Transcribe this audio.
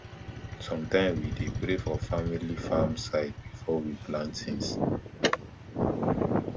sometime we dey pray for family farm side before we plant things